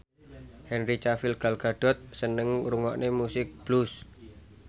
Henry Cavill Gal Gadot seneng ngrungokne musik blues